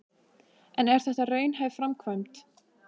En er þetta raunhæf framkvæmd?